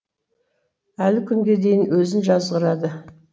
әлі күнге дейін өзін жазғырады